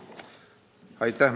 Aitäh!